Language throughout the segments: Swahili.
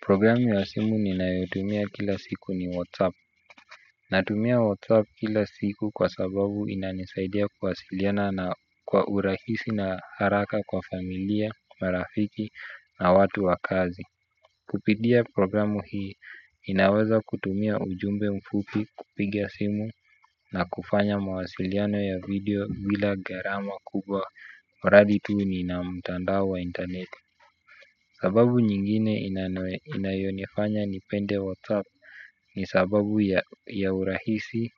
Programu ya simu ninayoitumia kila siku ni WhatsApp. Natumia WhatsApp kila siku kwa sababu inanisaidia kuwasiliana na kwa urahisi na haraka kwa familia, marafiki na watu wa kazi. Kupitia programu hii, ninaweza kutumia ujumbe mfupi kupiga simu na kufanya mawasiliano ya video bila gharama kubwa. Mradi tuu ninamtandao wa internet. Sababu nyingine inayonifanya nipende WhatsApp ni sababu ya urahisi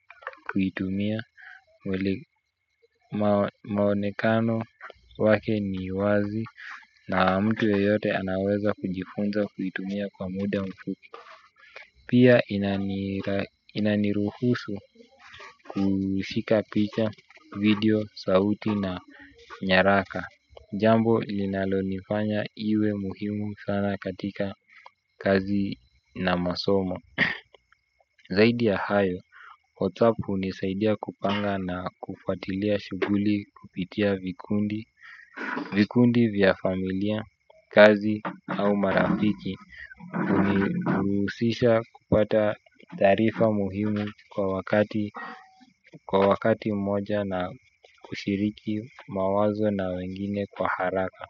kuitumia maonekano wake ni wazi na mtu yoyote anaweza kujifunza kuitumia kwa muda mfupi. Pia inaniruhusu kushika picha video, sauti na nyaraka. Jambo linalonifanya iwe muhimu sana katika kazi na masomo. Zaidi ya hayo, whatsapp hunisaidia kupanga na kufuatilia shuguli kupitia vikundi. Vikundi vya familia, kazi au marafiki huniruhusisha kupata taarifa muhimu kwa wakati moja na kushiriki mawazo na wengine kwa haraka.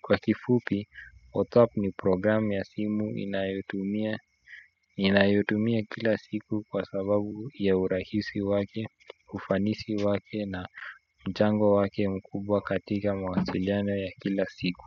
Kwa kifupi, whatsapp ni program ya simu ninayotumia kila siku kwa sababu ya urahisi wake, ufanisi wake na mchango wake mkubwa katika mawasiliana ya kila siku.